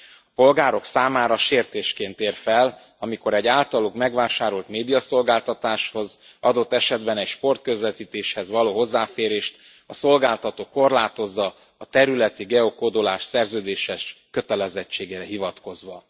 A polgárok számára sértésként ér fel, amikor egy általuk megvásárolt médiaszolgáltatáshoz, adott esetben egy sportközvetítéshez való hozzáférést a szolgáltató korlátozza a területi geokódolás szerződéses kötelezettségére hivatkozva.